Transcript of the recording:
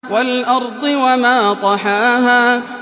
وَالْأَرْضِ وَمَا طَحَاهَا